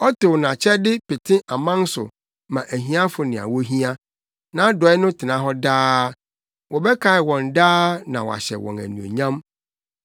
Ɔtow nʼakyɛde pete aman so ma ahiafo nea wohia, nʼadɔe no tena hɔ daa; wɔbɛkae wɔn daa na wɔahyɛ wɔn anuonyam.